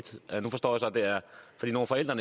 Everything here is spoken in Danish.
da